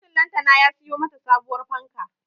Mijin lantana ya siyo mata sabuwar fanka